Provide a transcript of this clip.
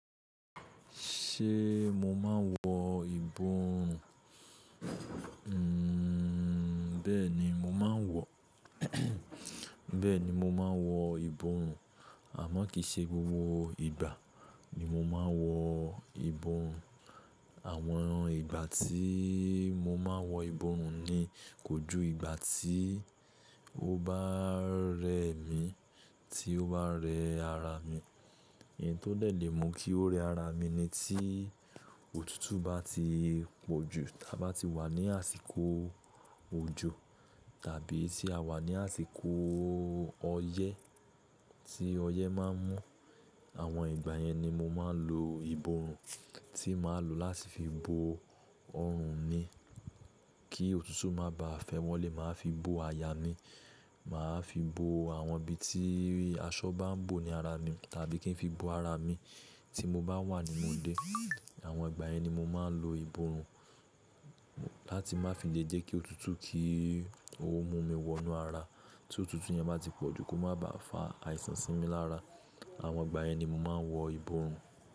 Ṣé mo máa ń wọ ìbòòrùn? Bẹ́ẹ̀ni mo máa n wọ, bẹ́ẹ̀ni mo máa ń wọ ìbòòrùn àmọ́ kì í ṣe gbogbo ìgbà ni mo máa ń wọ ìbòòrùn. Àwọn ìgbà tí mo máa ń wọ ìbòòrùn ni kójú ìgbà tí ó bá rẹ mí, tí ó bá rẹ ara mi. N tó dé lẹ̀ mú kí ó rẹ ara mi ni tí òtútù bá ti pọ̀jù, tí a bá ti wà ní àsìkò òjò tàbí tí a wà ní àsìkò ọyẹ́ tí ọyẹ́ máa ń mú. Àwọn ìgbà yẹn ni mo máa ń lo ìbòòrùn tí màá lò láti fi bo ọrùn mi kí òtútù má bá à fẹ́ wọlé, màá fi bo àyà mi, màá fi bo àwọn ibi tí aṣọ bá ń bò ní ara mi tàbí kí n fi bo ara mi tí mo bá wà nínú ilé. Àwọn ìgbà yẹn ni mo máa ń lo ìbòòrùn láti má fi lè jẹ́ kí òtútù kí ó mú mi wọ inú ara. Tí òtútù yẹn bá ti pọ̀jù kó má bá fà àìsàn sí mi lára. Àwọn ìgbà yẹn ni mo máa ń wọ ìbòòrù.